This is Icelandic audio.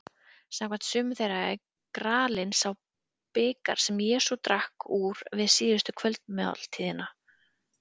Samkvæmt sumum þeirra er gralinn sá bikar sem Jesús drakk úr við síðustu kvöldmáltíðina.